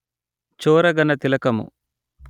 చోరగణ తిలకము